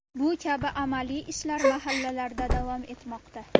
Bu kabi amaliy ishlar mahallalarda davom etmoqda.